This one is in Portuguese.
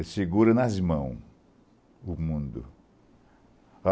Ele segura nas mãos o mundo.